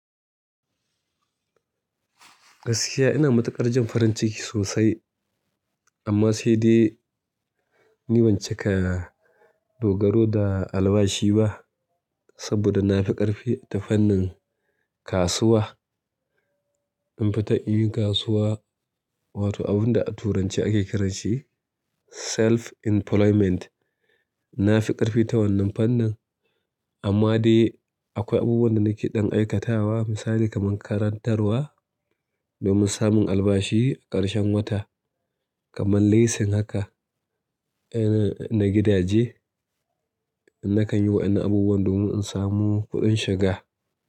Gaskiya ina matukar jin farinciki sosai ama sai dai ina cika dogaro da albabshi ba saboda na fi ƙarfi ta fannin kasuwa. Mun fi ta yin kasuwa, wato abu da a turance ake ce da shi self-employment na fi ƙarfi ta wannan fannin amma dai akwai abubuwan da nake ɗan aikatawa misali kaman karantarwa domin samin albashi karshin wata kaman leasing haka na gidaje. Nakan yi wa'inan abubuwa domin in samu kuɗin shiga.